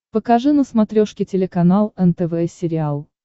покажи на смотрешке телеканал нтв сериал